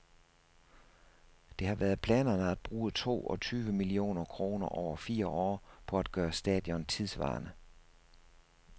Det har været planerne at bruge to og tyve millioner kroner over fire år på at gøre stadion tidssvarende.